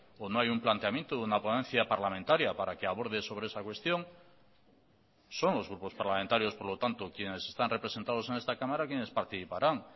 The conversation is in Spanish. o no hay un planteamiento de una ponencia parlamentaria para que aborde sobre esa cuestión son los grupos parlamentarios por lo tanto quienes están representados en esta cámara quienes participarán